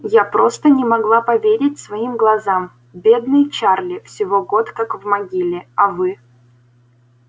я просто не могла поверить своим глазам бедный чарли всего год как в могиле а вы